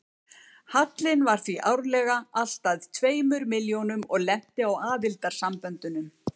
Hallinn var því árlega alltað tveimur milljónum og lenti á aðildarsamböndunum.